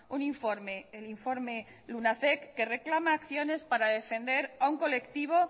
un informe el informe lunacek que reclama acciones para defender a un colectivo